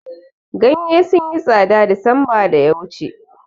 Ganye sun yi tsada desemba da ya wuce